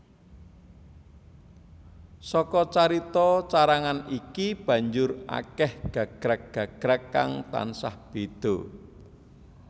Saka carita carangan iki banjur akèh gagrag gagrag kang tansah béda